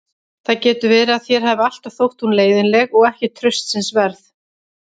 Það getur verið að þér hafi alltaf þótt hún leiðinleg og ekki traustsins verð.